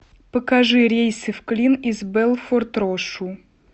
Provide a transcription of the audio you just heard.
покажи рейсы в клин из белфорд рошу